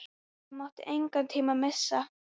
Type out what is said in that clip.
Það mátti engan tíma missa.